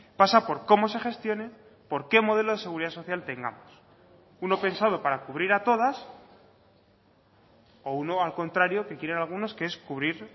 pasa por cómo se gestione porque modelo de seguridad social tengamos uno pensado para cubrir a todas o uno al contrario que quieren algunos que es cubrir